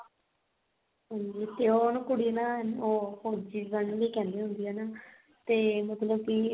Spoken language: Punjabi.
ਹਾਂਜੀ ਤੇ ਉਹ ਕੁੜੀ ਨਾ ਉਹਨੂੰ ਫੋਜੀ ਬਣਨ ਲਈ ਕਹਿੰਦੀ ਹੁੰਦੀ ਆ ਤੇ ਮਤਲਬ ਕੀ ਉਹ ਨਾ